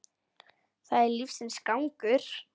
Það er lífsins gangur.